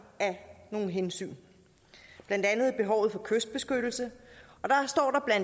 af nogle hensyn blandt andet behovet for kystbeskyttelse